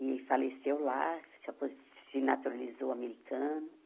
E faleceu lá, se apo se naturalizou americano.